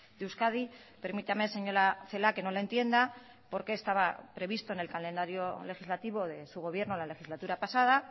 de euskadi permítame señora celaá que no la entienda porque estaba previsto en el calendario legislativo de su gobierno la legislatura pasada